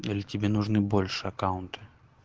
или тебе нужны больше аккаунты